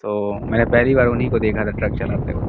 तो मैंने पहिली बार उन्ही को देखा था ट्रक चलाते हुए।